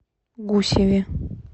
гусеве